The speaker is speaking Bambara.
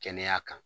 Kɛnɛya kan